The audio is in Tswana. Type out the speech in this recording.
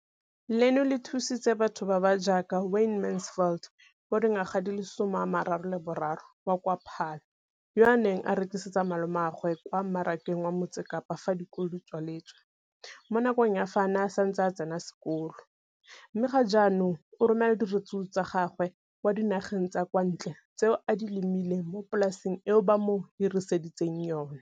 Leno le thusitse batho ba ba jaaka Wayne Mansfield, 33, wa kwa Paarl, yo a neng a rekisetsa malomagwe kwa Marakeng wa Motsekapa fa dikolo di tswaletse, mo nakong ya fa a ne a santse a tsena sekolo, mme ga jaanong o romela diratsuru tsa gagwe kwa dinageng tsa kwa ntle tseo a di lemileng mo polaseng eo ba mo hiriseditseng yona.